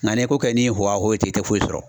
Nka n'i ye ko kɛ ni wowawo ye ten i tɛ foyi sɔrɔ.